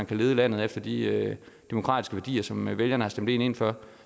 kan lede landet efter de demokratiske værdier som vælgerne har stemt dem ind for